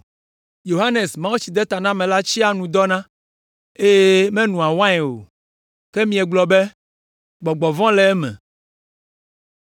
Yohanes Mawutsidetanamela tsia nu dɔna, eye menoa wain o, ke miegblɔ be, ‘Gbɔgbɔ vɔ̃ le eme.’